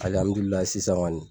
sisan kɔni.